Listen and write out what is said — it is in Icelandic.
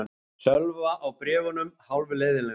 Sölva á bréfunum hálfleiðinlegur.